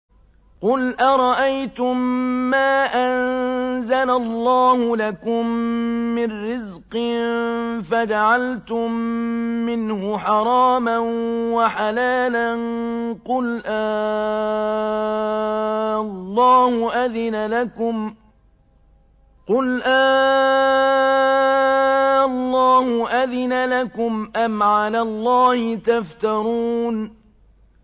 قُلْ أَرَأَيْتُم مَّا أَنزَلَ اللَّهُ لَكُم مِّن رِّزْقٍ فَجَعَلْتُم مِّنْهُ حَرَامًا وَحَلَالًا قُلْ آللَّهُ أَذِنَ لَكُمْ ۖ أَمْ عَلَى اللَّهِ تَفْتَرُونَ